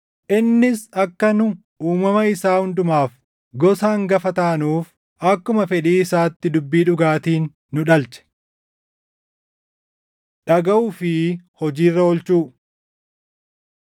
Innis akka nu uumama isaa hundumaaf gosa hangafa taanuuf akkuma fedhii isaatti dubbii dhugaatiin nu dhalche. Dhagaʼuu fi Hojii Irra Oolchuu